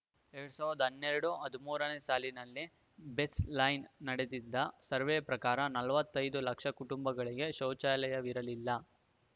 ಎರಡ್ ಸಾವಿರದ ಹನ್ನೆರಡು ಹದಿಮೂರನೇ ಸಾಲಿನಲ್ಲಿ ಬೇಸ್‌ಲೈನ್‌ ನಡೆಸಿದ್ದ ಸರ್ವೆ ಪ್ರಕಾರ ನಲವತ್ತೈದು ಲಕ್ಷ ಕುಟುಂಬಗಳಿಗೆ ಶೌಚಾಲಯವಿರಲಿಲ್ಲ